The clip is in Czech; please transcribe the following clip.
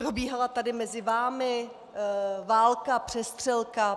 Probíhala tady mezi vámi válka, přestřelka.